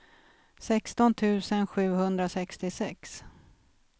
sexton tusen sjuhundrasextiosex